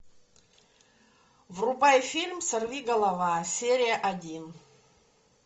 врубай фильм сорвиголова серия один